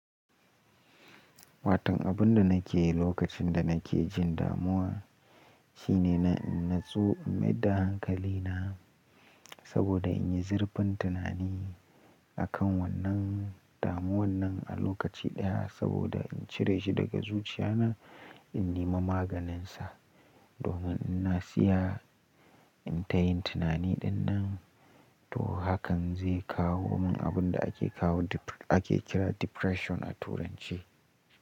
Watan abun da nake yi lokacin da nake jin damuwa, shine na, natsu in maida hankali na, saboda in yi zurfin tunani, akan wannan damuwan nan a lokaci ɗaya, saboda in cire shi daga zuciya na, in nima maganin sa, domin in na siya in tayin tunani ɗinnan, to hakan zai kawo mun abunda ake kawo ake kira depression a turanci.